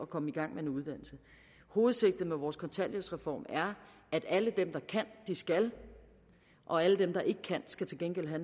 komme i gang med en uddannelse hovedsigtet med vores kontanthjælpsreform er at alle dem der kan de skal og alle dem der ikke kan skal til gengæld have